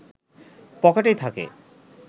পকেটেই থাকে